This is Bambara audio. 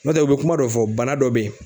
Nɔntɛ u bɛ kuma dɔ fɔ bana dɔ be ye